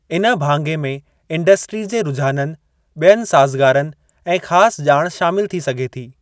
इन भाङे में इंडस्ट्री जे रूझाननि, बि॒यनि साज़गारनि ऐं ख़ासि ॼाण शामिल थी सघे थी।